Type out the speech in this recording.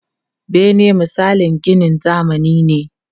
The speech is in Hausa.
Bene misalin ginin zamani ne.